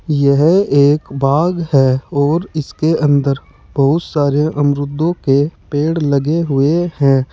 यह एक बाग है और इसके अंदर बहुत सारे अमरूदों के पेड़ लगे हुए हैं।